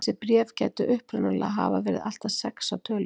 þessi bréf gætu upprunalega hafa verið allt að sex að tölu